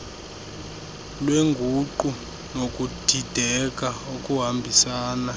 lweenguqu nokudideka okuhambisana